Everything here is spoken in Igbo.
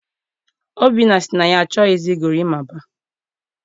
Obinna sị na ya achọghị gorimapa.